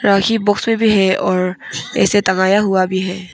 राखी box में भी है और ऐसे टंगाया हुआ भी है।